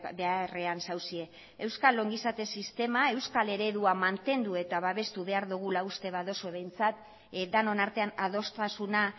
beharrean zaudete euskal ongizate sistema euskal eredua mantendu eta babestu behar dugula uste baduzue behintzat denon artean adostasuna